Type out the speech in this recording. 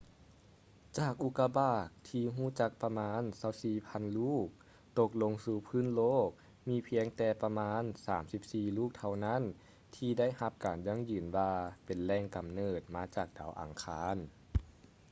ຈາກອຸກາບາກທີ່ຮູ້ຈັກປະມານ 24,000 ລູກ ຕົກລົງສູ່ພື້ນໂລກ ມີພຽງແຕ່ປະມານ 34 ລູກເທົ່ານັ້ນທີ່ໄດ້ຮັບການຢັ້ງຢືນວ່າເປັນແຫຼງກຳເນີດມາຈາກດາວອັງຄານ